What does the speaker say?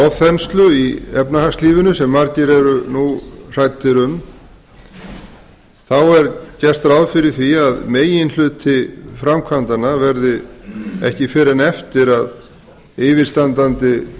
ofþenslu í efnahagslífinu sem margir eru nú hræddir um er gert ráð fyrir því að meginhluti framkvæmdanna verði ekki fyrr en eftir að yfirstandandi